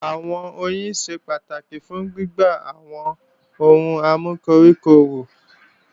Àwọn oyin ṣe pàtàkì fún gbígbé àwọn ohun amúkoríko wù